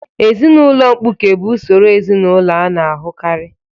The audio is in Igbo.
Ezinụlọ mkpuke bụ usoro ezinụlọ a na-ahụkarị.